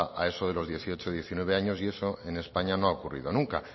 a eso de los dieciocho diecinueve años y eso en españa no ha ocurrido nunca